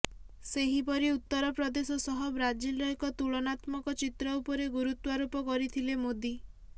ସେହିପରି ଉତ୍ତର ପ୍ରଦେଶ ସହ ବ୍ରାଜିଲର ଏକ ତୁଳନାତ୍ମକ ଚିତ୍ର ଉପରେ ଗୁରୁତ୍ୱାରୋପ କରିଥିଲେ ମୋଦି